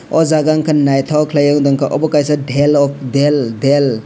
aw jaaga unka nythok kelaie akdom ke obo kaisa delor del del del.